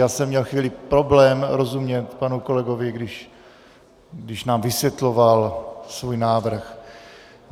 Já jsem měl chvíli problém rozumět panu kolegovi, když nám vysvětloval svůj návrh.